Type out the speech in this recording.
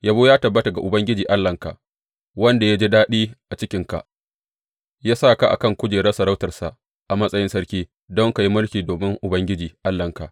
Yabo ya tabbata ga Ubangiji Allahnka, wanda ya ji daɗi a cikinka ya sa ka a kan kujerar sarautarsa a matsayin sarki don ka yi mulkin domin Ubangiji Allahnka.